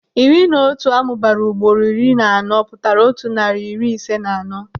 Iri na otu amụbara ugboro iri na anọ pụtara otu narị na iri ise na anọ.